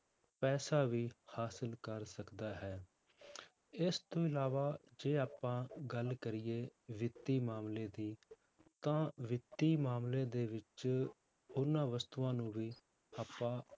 ਪੈਸਾ ਵੀ ਹਾਸਿਲ ਕਰ ਸਕਦਾ ਹੈ ਇਸ ਤੋਂ ਇਲਾਵਾ ਜੇ ਆਪਾਂ ਗੱਲ ਕਰੀਏ ਵਿੱਤੀ ਮਾਮਲੇ ਦੀ ਤਾਂ ਵਿੱਤੀ ਮਾਮਲੇ ਦੇ ਵਿੱਚ ਉਹਨਾਂ ਵਸਤੂਆਂ ਨੂੰ ਵੀ ਆਪਾਂ